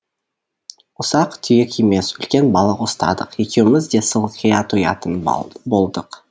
ұсақ түйек емес үлкен балық ұстадық екеуіміз де сылқия тоятын болдық